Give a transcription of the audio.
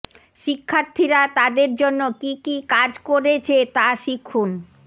শিক্ষার্থীরা তাদের জন্য কী কী কাজ করেছে তা শিখুন